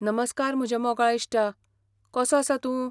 नमस्कार म्हज्या मोगाळ इश्टा, कसो आसा तूं?